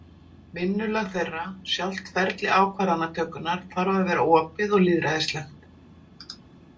Vinnulag þeirra, sjálft ferli ákvarðanatökunnar, þarf að vera opið og lýðræðislegt.